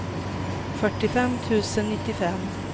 fyrtiofem tusen nittiofem